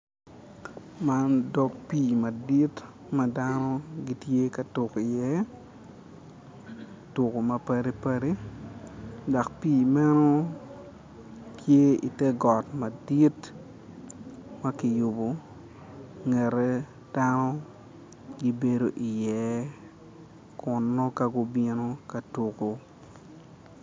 Man dog pi madit madano gitye ka tuk i ye tuko ma padi padi dok pi meno tye i ter got madit makiyubo ingete kano gibedo i ye kun nongo ka gubino katuko.